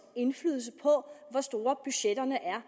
indflydelse på hvor store budgetterne er